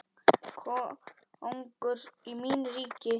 Kóngur í mínu ríki.